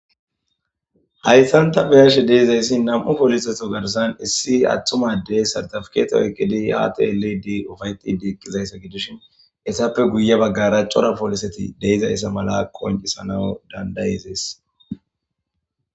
hayssanta beyashe deizayssi nam7u poliseto garsan issi atthumaddey sartafketo oykkidi haate lidi ufayti di iqqizayssa gidishin essappe guye baggara cora pooliseti deizayssa mala koncisanau dandayizees